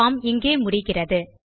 form இங்கே முடிகிறது